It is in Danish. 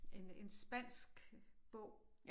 En en spansk bog